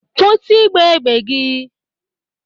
Kwụsi igba égbè gị!